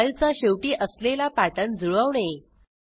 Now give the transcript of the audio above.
फाईलचा शेवटी असलेला पॅटर्न जुळवणे